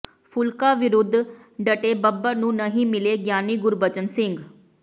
ਫੂਲਕਾ ਵਿਰੁੱਧ ਡਟੇ ਬੱਬਰ ਨੂੰ ਨਹੀਂ ਮਿਲੇ ਗਿਆਨੀ ਗੁਰਬਚਨ ਸਿੰਘ